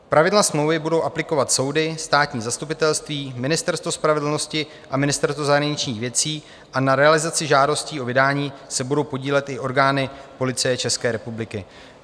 Pravidla smlouvy budou aplikovat soudy, státní zastupitelství, Ministerstvo spravedlnosti a Ministerstvo zahraničních věcí a na realizaci žádostí o vydání se budou podílet i orgány Policie České republiky.